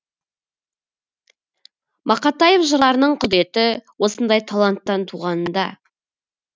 мақатаев жырларының құдіреті осындай таланттан туғанында